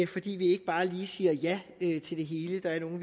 fordi vi ikke bare lige siger ja til det hele der er nogle